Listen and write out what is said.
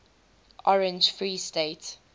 orange free state